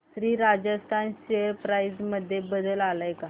Shri Rajasthan share price मध्ये बदल आलाय का